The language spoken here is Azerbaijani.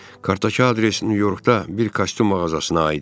Kartdakı adres Nyu-Yorkda bir kostyum mağazasına aid idi.